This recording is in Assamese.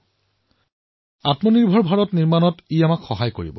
ই আত্মনিৰ্ভৰ ভাৰত হোৱাৰ আমাৰ প্ৰয়াসক সৱলীকৃত কৰিব